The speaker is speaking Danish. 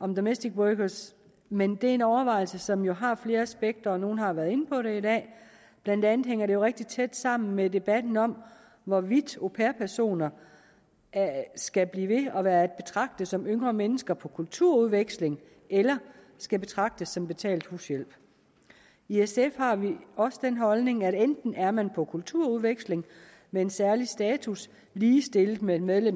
om domestic workers men det er en overvejelse som jo har flere aspekter og nogle har været inde på det i dag blandt andet hænger det rigtig tæt sammen med debatten om hvorvidt au pair personer skal blive ved at være at betragte som yngre mennesker på kulturudveksling eller skal betragtes som betalt hushjælp i sf har vi også den holdning at enten er man på kulturudveksling med en særlig status ligestillet med et medlem